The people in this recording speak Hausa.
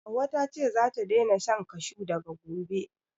Hauwa ta ce zata daina shan kashu daga gobe